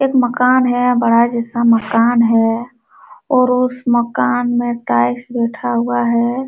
एक मकान है बड़ा जैसा मकान है और उस मकान में टाइल्स बैठा हुआ है।